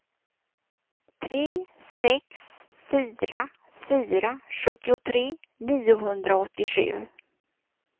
tre sex fyra fyra sjuttiotre niohundraåttiosju